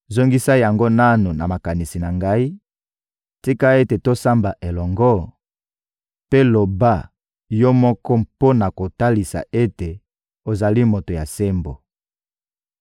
Zongisa yango nanu na makanisi na Ngai; tika ete tosamba elongo, mpe loba yo moko mpo na kotalisa ete ozali moto ya sembo.